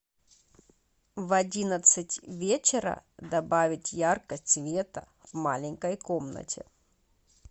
в одиннадцать вечера добавить яркость света в маленькой комнате